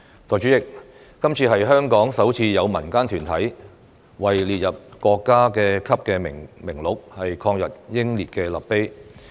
代理主席，今次是香港首次有民間團體為列入國家級名錄的抗日英烈立碑。